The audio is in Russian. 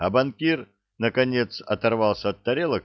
а банкир наконец оторвался от тарелок